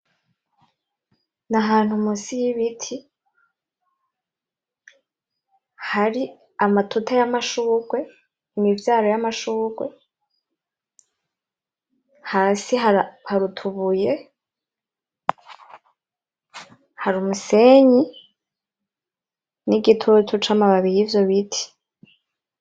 N'ahantu munsi y'Ibiti ,hari amatuta y'amashurwe imivyaro y'amashurwe hasi hari utubuye, hari umusenyi, n'igitutu cayo mababi yivyo biti.